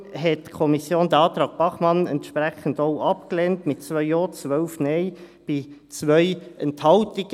Deshalb hat die Kommission den Antrag Bachmann entsprechend auch abgelehnt, mit 2 Ja, 12 Nein, bei 2 Enthaltungen.